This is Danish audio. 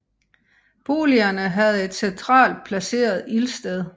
Boligerne havde et centralt placeret ildsted